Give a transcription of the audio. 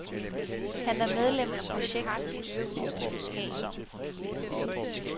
Han er medlem af projektets styregruppe.